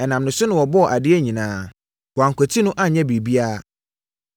Ɛnam ne so na wɔbɔɔ adeɛ nyinaa. Wɔankwati no anyɛ biribiara.